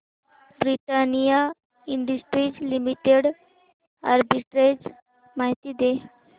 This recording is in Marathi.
ब्रिटानिया इंडस्ट्रीज लिमिटेड आर्बिट्रेज माहिती दे